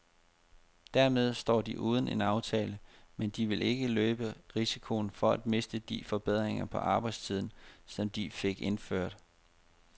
Dermed står de uden en aftale, men de vil ikke løbe risikoen for at miste de forbedringer på arbejdstiden, som de fik indført.